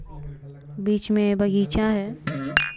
बीच में बगीचा है।